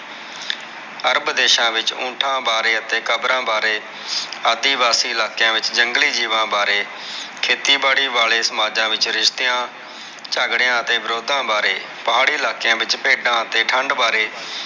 ਅਰਬ ਦੇਸ਼ਾਂ ਵਿਚ ਉਂਠਾ ਬਾਰੇ ਅਤੇ ਕਬਰਾਂ ਬਾਰੇ, ਆਦਿਵਾਸੀ ਇਲਾਕਿਆਂ ਵਿਚ ਜੰਗਲੀ ਜੀਵਾਂ ਬਾਰੇ ਖੇਤੀ ਬਾੜੀ ਵਾਲੇ ਸਮਾਜਾਂ ਵਿਚ ਰਿਸ਼ਤਿਆਂ ਝਗੜੇਆਂ ਤੇ ਵਿਰੋਧਾਂ ਬਾਰੇ ਪਹਾੜੀ ਇਲਾਕਿਆਂ ਵਿਚ ਭੇਡਾ ਤੇ ਠੰਡ ਬਾਰੇ।